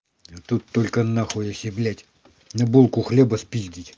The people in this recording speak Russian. тут только на хуясе блять на булку хлеба спиздить